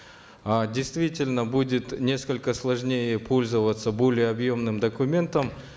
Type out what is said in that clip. э действительно будет несколько сложнее пользоваться более объемным документом